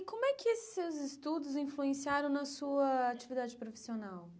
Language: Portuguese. E como é que esses estudos influenciaram na sua atividade profissional?